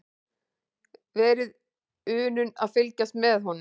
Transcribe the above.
Verið unun að fylgjast með honum.